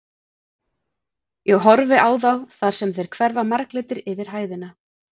Ég horfi á þá þar sem þeir hverfa marglitir yfir hæðina.